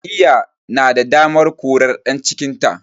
Jam'iyya na da damar korar ɗan cikinta